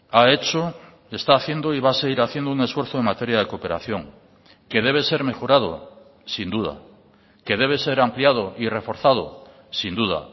ha hecho está haciendo y va a seguir haciendo un esfuerzo en materia de cooperación que debe ser mejorado sin duda que debe ser ampliado y reforzado sin duda